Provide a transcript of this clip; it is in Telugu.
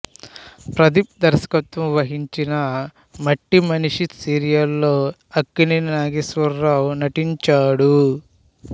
ప్రదీప్ దర్శకత్వం వహించిన మట్టి మనిషి సీరియల్ లో అక్కినేని నాగేశ్వరరావు నటించాడు